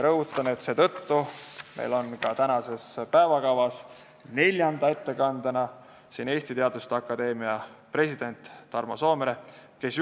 Rõhutan, et seetõttu on meil tänases päevakavas neljanda ettekandena Eesti Teaduste Akadeemia presidendi Tarmo Soomere ettekanne.